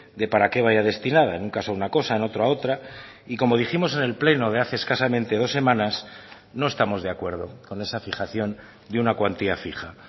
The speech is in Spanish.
de para qué vaya destinada en un caso una cosa en otra otra y como dijimos en el pleno de hace escasamente dos semanas no estamos de acuerdo con esa fijación de una cuantía fija